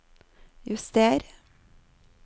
juster